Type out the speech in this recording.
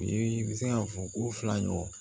U ye i bɛ se ka fɔ ko fila ɲɔgɔn